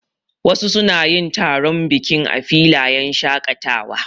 Wasu suna yin taron biki a filayen shaƙatawa.